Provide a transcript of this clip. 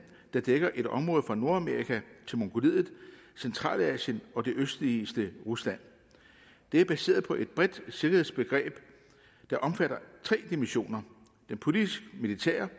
der dækker et område fra nordamerika til mongoliet centralasien og det østligste rusland det er baseret på et bredt sikkerhedsbegreb der omfatter tre dimensioner den politisk militære